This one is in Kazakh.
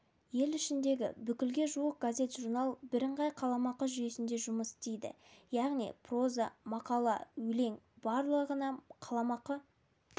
ел ішіндегі бүкілге жуық газет-журнал бірыңғай қаламақы жүйесінде жұмыс істейді яғни проза мақала өлең барлығына қаламақы